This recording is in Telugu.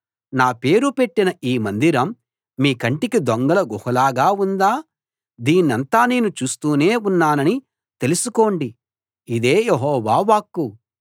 నా పేరు పెట్టిన ఈ మందిరం మీ కంటికి దొంగల గుహలాగా ఉందా దీన్నంతా నేను చూస్తూనే ఉన్నానని తెలుసుకోండి ఇదే యెహోవా వాక్కు